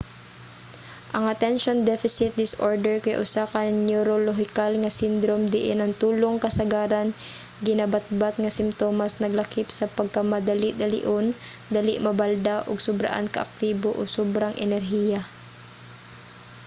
ang attention deficit disorder kay usa ka neorolohikal nga sindrom diin ang tulong kasagaran ginabatbat nga simtomas naglakip sa pagkamadali-dalion dali mabalda ug sobraan ka-aktibo o sobrang enerhiya